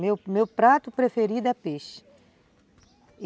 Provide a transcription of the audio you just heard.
Meu prato preferido é peixe.